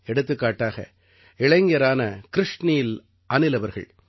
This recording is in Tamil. எடுத்துக்காட்டாக இளைஞரான கிருஷ்னீல் அனில் அவர்கள்